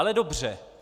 Ale dobře.